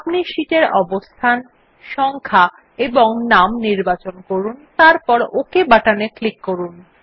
আপনি শীটের অবস্থান সংখ্যা ও নাম নির্বাচন করুন এবং তারপর ওক বাটনে ক্লিক করুন